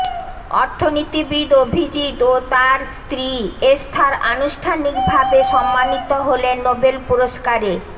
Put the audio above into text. অর্থনীতিবিদ অভিজিৎ ও তাঁর স্ত্রী এস্থার আনুষ্ঠানিকভাবে সম্মানিত হলেন নোবেল পুরস্কারে